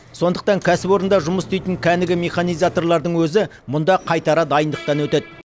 сондықтан кәсіпорында жұмыс істейтін кәнігі механизаторлардың өзі мұнда қайтара дайындықтан өтеді